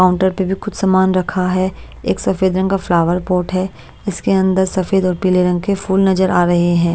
Counter पे भी कुछ सामान रखा है एक सफेद रंग का फ्लावर पोर्ट है इसके अंदर सफेद और पीले रंग के फूल नजर आ रहे हैं।